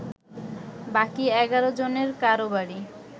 বাকি ১১ জনের কারো বাড়ি